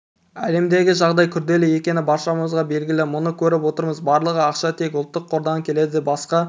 әлемдегі жағдай күрделі екені баршаға белгілі мұны көріп отырмыз барлығы ақша тек ұлттық қордан келеді басқа